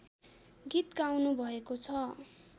गीत गाउनुभएको छ